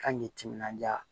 Kan k'i timinanja